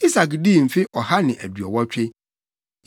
Isak dii mfe ɔha ne aduɔwɔtwe.